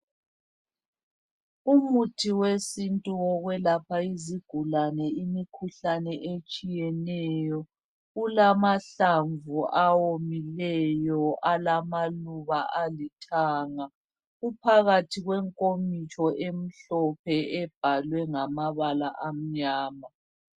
Umuthi wesintu wokwelapha isigulane imikhuhlane etshiyeneyo kulamahlamvu awomileyo alamaluba alithanga . Uphakathin kwenkomitsho emhlophe ebhaliwe ngamabala amnyama